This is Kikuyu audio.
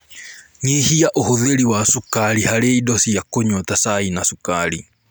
Nyihia ũhũthĩri wa cukari harĩ indo cia kũnyua ta cai na cukari